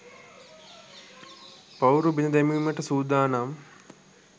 පවුරු බිඳ දැමීමට සූදානම්